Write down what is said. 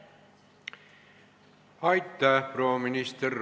Aitäh, proua minister!